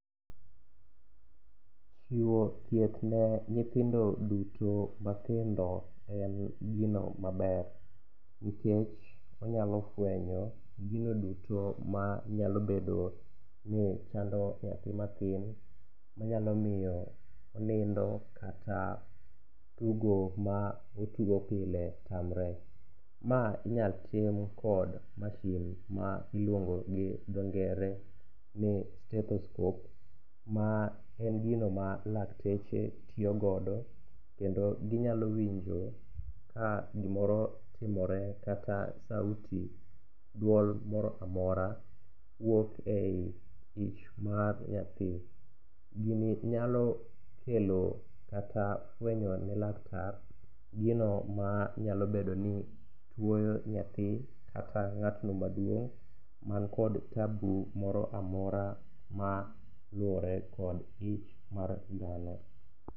Chiwo thieth ne nyithindo duto mathindo en gino maber nkech onyalo fwenyo gino duto manyalobedo ni chando nyathi mathin manyalo miyo onindo kata tugo ma otugo pile tamre. Ma inyal tim kod mashin ma iluongo gi dho ngere ni stethoscope ma en gino ma lakteche tiyogodo kendo ginyalo winjo ka gimoro timore kata sauti duol moro amora wuok e i ich mar nyathi. Gini nyalo kelo kata fwenyo ne laktar gino manyalobedo ni tuoyo nyathi kata ng'atno maduong' mankod tabu moro amora maluwore kod ich mar dhano.